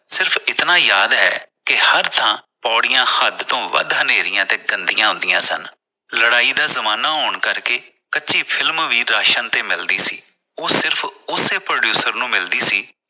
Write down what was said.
ਸਿਰਫ ਇਤਨਾਂ ਯਾਦ ਹੈ ਕਿ ਹਰ ਥਾਂ ਪੌੜੀਆਂ ਹੱਦ ਤੋਂ ਵੱਧ ਹਨਾਰੀਆਂ ਤੇ ਗੰਦੀਆਂ ਹੁੰਦੀਆਂ ਸਨ। ਲੜਾਈ ਦਾ ਜਮਾਨਾ ਹੋਣ ਕਰਕੇ ਕੱਚੀ ਫਿਲਮ ਵੀ ਰਾਸ਼ਨ ਤੇ ਮਿਲਦੀ ਸੀ । ਉਹ ਸਿਰਫ ਉਸੇ producer ਨੂੰ ਮਿਲਦੀ ਸੀ